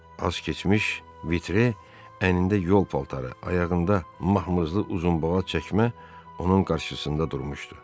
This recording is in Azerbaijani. Az keçmiş Vitre əynində yol paltarı, ayağında məhmizli uzunboğaz çəkmə onun qarşısında durmuşdu.